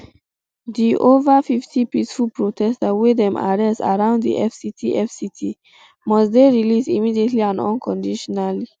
um di ova fifty peaceful protesters wey dem arrest around di fct fct must dey released immediately and unconditionally